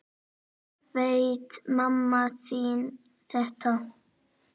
Veit mamma þín þetta?